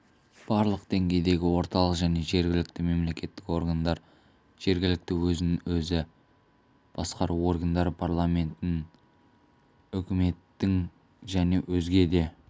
барлық деңгейдегі орталық және жергілікті мемлекеттік органдар жергілікті өзін-өзі басқару органдары парламенттің үкіметтің және өзге де